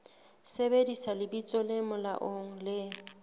sebedisa lebitso le molaong le